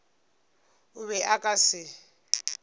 o be a ka se